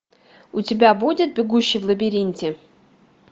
у тебя будет бегущий в лабиринте